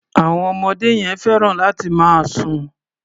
Àwọn ọmọdé yẹn fẹ́ràn láti máa sùn.